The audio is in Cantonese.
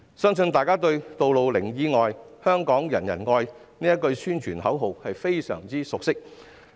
相信大家對"路上零意外，香港人人愛"這句宣傳口號也相當熟悉。